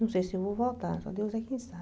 Não sei se eu vou voltar, só Deus é quem sabe.